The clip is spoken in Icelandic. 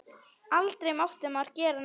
Aldrei mátti maður gera neitt.